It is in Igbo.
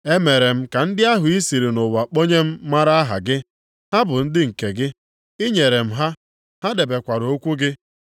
“Emere m ka ndị ahụ i siri nʼụwa kponye m mara aha gị. Ha bụ ndị nke gị, i nyere m ha, ha debekwara okwu gị.